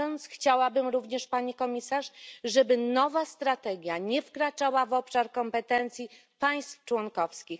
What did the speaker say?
Chciałabym również, Pani Komisarz, żeby nowa strategia nie wkraczała w obszar kompetencji państw członkowskich.